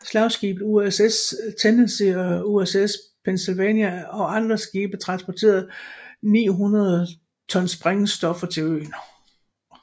Slagskibene USS Tennessee og USS Pennsylvania og andre skibe transportede 900 ton sprængstoffer til øen